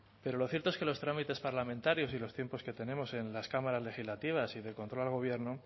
pero lo cierto es que los trámites parlamentarios y los tiempos que tenemos en las cámaras legislativas y de control al gobierno